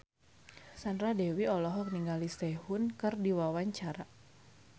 Sandra Dewi olohok ningali Sehun keur diwawancara